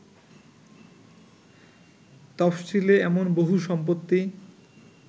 তফশিলে এমন বহু সম্পত্তি